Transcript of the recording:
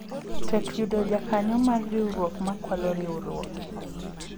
tek yudo jakanyo mar riwruok ma kwalo riwruoge